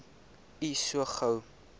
u so gou